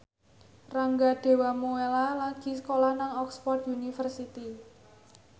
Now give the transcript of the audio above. Rangga Dewamoela lagi sekolah nang Oxford university